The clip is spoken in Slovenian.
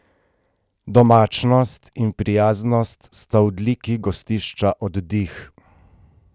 Domačnost in prijaznost sta odliki Gostišča Oddih.